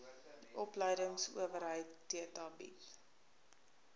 opleidingsowerheid theta bied